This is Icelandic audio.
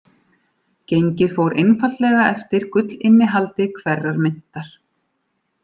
Gengið fór einfaldlega eftir gullinnihaldi hverrar myntar.